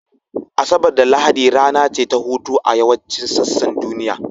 Asabar da Lahadi rana ce ta hutu a yawancin sassan duniya